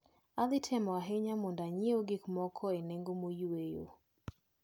Adhitemo ahinya mondo anyieu gikmoko e nengo moyweyo.